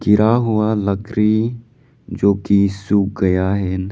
गिरा हुआ लकड़ी जो की सूख गया है।